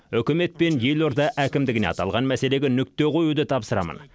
үкімет пен елорда әкімдігіне аталған мәселеге нүкте қоюды тапсырамын